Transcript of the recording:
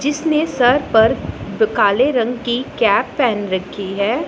जिसने सिर पर तो काले रंग की कैप पहन रखी है।